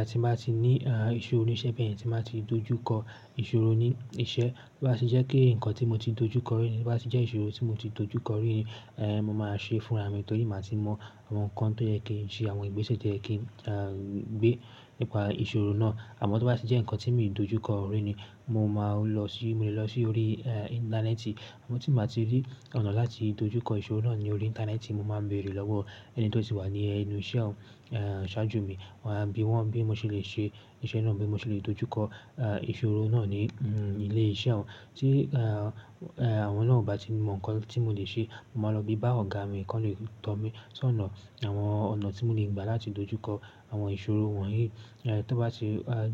Àti bá ti ní ìṣòro níṣẹ́, bẹ́ẹ̀ ni tí máa ti dojú kọ ìṣòro ní iṣẹ́. Bí bá ti jẹ́ kí ǹkan tí mo ti dojú kọ rí, ní bá ti jẹ́ ìṣòro tí mo ti dojú kọ rí ni, eh, mo máa ṣe fúnra mi torí màá ti mọ àwọn ǹkan tó yẹ kí n ṣe, àwọn ìgbésẹ̀ tó yẹ kí n, ah, gbé nípa ìṣòro náà. Àmọ́ tí ó bá ti jẹ́ ǹkan tí mi ò dojú kọ rí ni, mo máa lọ sí-- mo lè lọ sí orí, eh, íńtánẹ́ẹ̀tì. Àmọ́ tí màá ti rí ọ̀nà láti dojú kọ ìṣòro náà ní orí íńtánẹ́ẹ̀tì, mo máa bèrè lọ́wọ́ ẹni tó ti wà ní ẹnu iṣẹ́ ọ̀un, eh, ṣáájú mi. Wọn á bí wọn bí mo ṣe lè ṣe iṣẹ́ náà bí mo ṣe lè dojú kọ, eh, ìṣòro náà ní, mm, ilé iṣẹ́ wọn. Tí, eh, eh, àwọn náà ò bá ti mọ ǹkan tí mo lè ṣe, màá lọ bí bà ọ̀gá mi kọ́le tọ̀ mí sí ọ̀nà àwọn ọ̀nà tí mo lè gba láti dojú kọ àwọn ìṣòro wọ̀nyí. Eh, tó bá ti, ah,